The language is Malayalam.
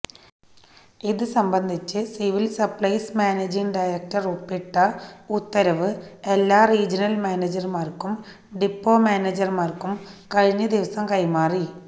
ഇത് സംബന്ധിച്ച് സിവില് സപ്ലൈസ് മാനേജിംഗ് ഡയറക്ടര് ഒപ്പിട്ട ഉത്തരവ് എല്ലാ റീജനല് മാനേജര്മാര്ക്കും ഡിപ്പോ മാനേജര്മാര്ക്കും കഴിഞ്ഞദിവസം കൈമാറി